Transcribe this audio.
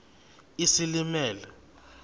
isilimela